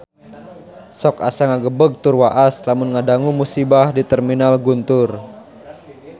Sok asa ngagebeg tur waas lamun ngadangu musibah di Terminal Guntur